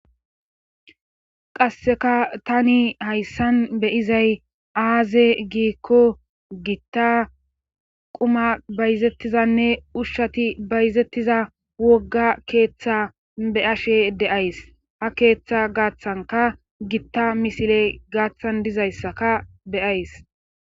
Qasseka tani hayssan beyizay aaze giikko gitta quma bayzettizanne ushshati bayzettiza wogga keeththa be ashe deays ha keeththa gaathanka gitta misile gaaththan dizayssaka beyays